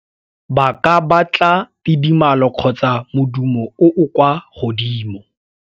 Ba ka batla tidimalo kgotsa modumo o o kwa godimo.